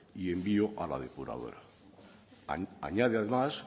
y envío a la depuradora añade además